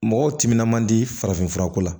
Mɔgɔw timinan man di farafin fura ko la